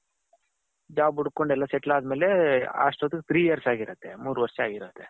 job ಹುಡ್ಕೊಂಡು ಎಲ್ಲಾ settle ಅದಮೇಲೆ ಅಷ್ತೊತಿಗೆ three years ಆಗಿರುತ್ತೆ ಮೂರು ವರ್ಷ ಆಗಿರುತ್ತೆ .